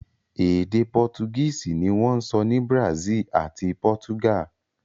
Èdè Pọ́tugíìsì ní wọ́n ń ṣọ́ ní Brazil àti Portugal